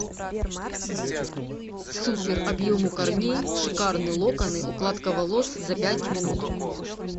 супер объем у корней шикарные локоны укладка волос за пять минут